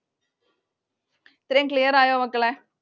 ഇത്രയും clear ആയോ മക്കളെ?